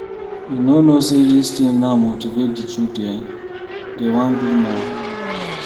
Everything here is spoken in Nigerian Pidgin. You no know say dis thing now motivate the children, dey wan do more.